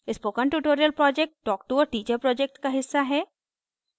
spoken tutorial project talktoa teacher project का हिस्सा है